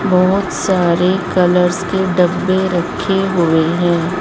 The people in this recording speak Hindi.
बहोत सारे कलर्स के डब्बे रखे हुए हैं।